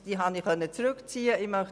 Ich habe sie zurückziehen können.